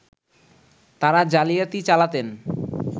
তারা জালিয়াতি চালাতেন